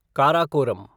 Karakoram